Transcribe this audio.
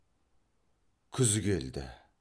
күз келді